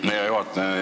Aitäh, hea juhataja!